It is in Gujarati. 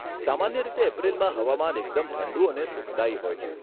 સામાન્ય રીતે એપ્રિલમાં હવામાન એકદમ ઠંડુ અને સુખદાયી હોય છે.